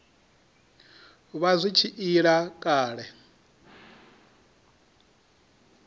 vha zwi tshi ila kale